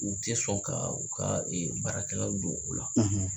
U tɛ sɔn ka u ka baarakɛlaw don u la.